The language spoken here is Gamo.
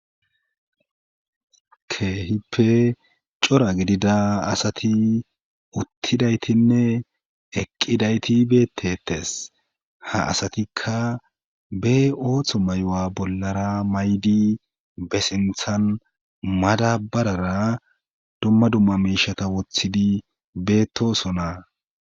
keehippe cora gidida asati uttidaytinne eqqidayti beettettes ha asatikka be ooththo mayo7a bollara maydi be sinthan madabarara dumma dumma miishata wothidi beettosonaa